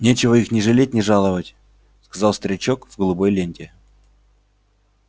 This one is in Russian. нечего их ни жалеть ни жаловать сказал старичок в голубой ленте